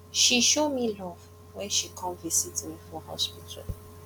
she show me love wen she come visit me for hospital